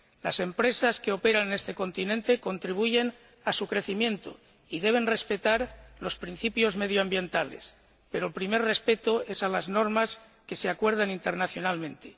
Las empresas que operan en este continente contribuyen a su crecimiento y deben respetar los principios medioambientales, pero el primer respeto es a las normas que se acuerden internacionalmente.